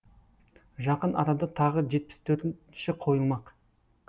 жақын арада тағы жетпіс төртінші қойылмақ